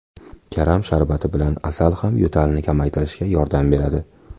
Karam sharbati bilan asal ham yo‘talni kamaytirishga yordam beradi.